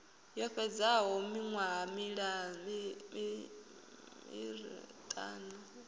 yo fhedzaho miṅwaha miṋa i